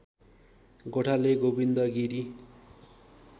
गोठाले Govind Giri